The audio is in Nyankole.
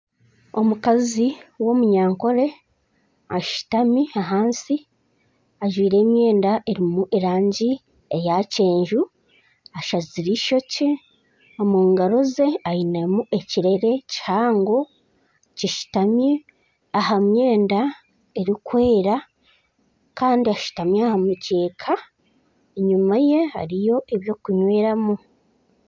Omukazi w'omunyankore ashutami ahansi ajwire emyenda erimu erangi eya kyenju. Ashazire ishokye. Omu ngaro ze ainemu ekirere kihango kishutami aha myenda erikwera kandi ashutami aha mukyeeka enyima ye hariyo ebyokunyweramu.